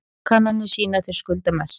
Kannanir sýna að þeir skulda mest